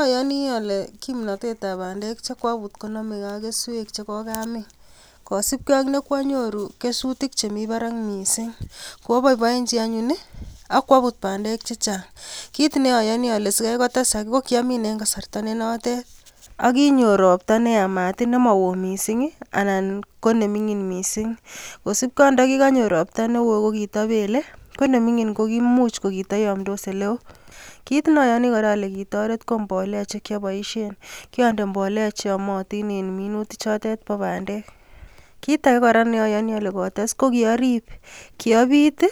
Ayoni ale kimnatetab bandek chekwabut konomegei ak keswek chekokamin kosibkei ak nekwanyoru kesutik chemi barak mising' kwaboiboenchin anyun akwabut bandek chechang' kiit nayoni ale sikoikotesak ko kiamin eng' kasarta nenotet akinyor ropta neyamat nemaoo mising' anan ko neming'in mising' kosupkei ak ndikikanyor ropta neo ko kitapelei ko neming'in ko kiimuch ko kitayomdos ole oo kit nayoni kora ale kitoret ko mbolea chekyaboishen kiande mbolea cheyomotin in minutik chotet bo bandek kiit age kora neayoni ale kotes ko kiarip kiapit